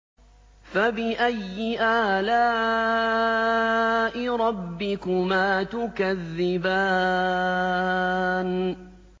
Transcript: فَبِأَيِّ آلَاءِ رَبِّكُمَا تُكَذِّبَانِ